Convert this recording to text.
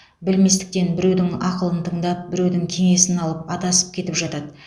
білместіктен біреудің ақылын тыңдап біреудің кеңесін алып адасып кетіп жатады